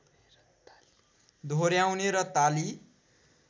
दोहोर्‍याउने र ताली